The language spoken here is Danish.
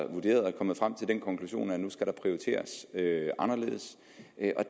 er kommet frem til den konklusion at der nu skal prioriteres anderledes